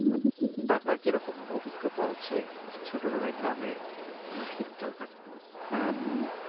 তো আপনার কি এরকম অভিজ্ঞতা আছে? ছোটবেলায় গ্রামে কোনো শীতকাল কাটানোর আহ